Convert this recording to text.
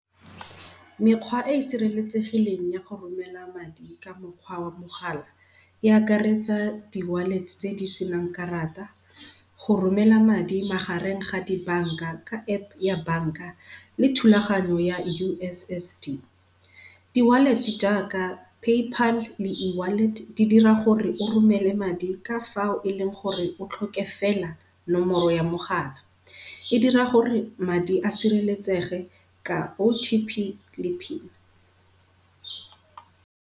Mekgwa e e sireletsegileng ya go romela madi ka mokgwa wa mogala, e akaretsa di wallet-e tse di senang karata, go romela madi magareng ga di bank-a ka App ya bank-a le thulaganyo ya U_S_S_D. Di-wallet-e jaaka PayPal le E-wallet di dira gore o romele madi ka fao e leng gore o tlhoke fela nomoro ya mogala. E dira gore madi a sireletsege ka O_T_P le pin.